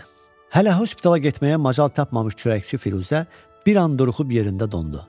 Hələ hospitala getməyə macal tapmamış çörəkçi Firuzə bir an duruxub yerində dondu.